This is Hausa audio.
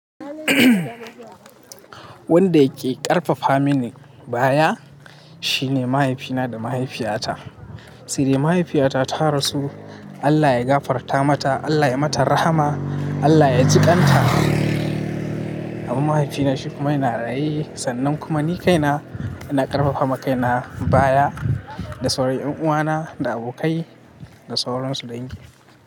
Wanda yake ƙarfafa mini baya shine mahaifina da mahaifiyata. Se dai mahaifiyata ta rasu. Allah ya gafarta mata. Allah ya mata rahama. Allah ya ji ƙan ta. Amman mahaifina shi kuma yana raye. Sannan kuma ni kaina ina ƙarfafa ma kaina baya da sauran ƴan uwana da abokai da sauransu dai.